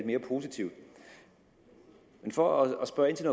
mere positiv for at spørge ind til